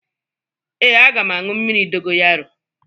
Ee, aga m aṅụ mmiri dogoyaro